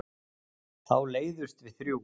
Þá leiðumst við þrjú.